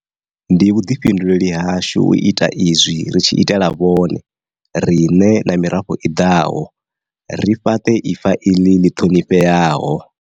Ndi vhuḓifhinduleli hashu u ita izwi ri tshi itela vhone, riṋe na mirafho i ḓaho, ri fhaṱe ifa iḽi ḽi ṱhonifheaho.